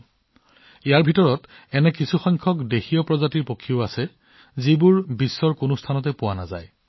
এইবোৰৰ ভিতৰত আছে কিছুমান থলুৱা প্ৰজাতিৰ চৰাই যিবোৰ পৃথিৱীৰ আন কোনো ঠাইত পোৱা নাযায়